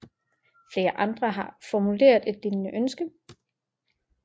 Flere andre har formuleret et lignende ønske